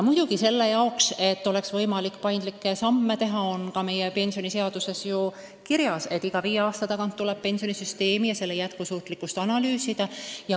Selleks, et oleks võimalik paindlikke samme astuda, on meie pensioniseaduses ju kirjas, et iga viie aasta tagant tuleb pensionisüsteemi, sh selle jätkusuutlikkust analüüsida.